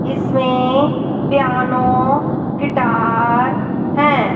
इसमें piano guitar हैं।